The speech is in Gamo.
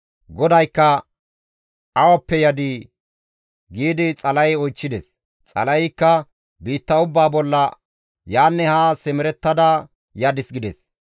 GODAYKKA, «Awappe yadii?» giidi Xala7e oychchides. Xala7eykka, «Biitta ubbaa bolla yaanne haa simerettada yadis» gides.